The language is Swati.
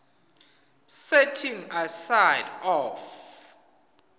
setting aside of